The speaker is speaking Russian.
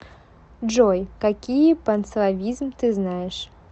джой какие панславизм ты знаешь